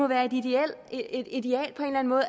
være et ideal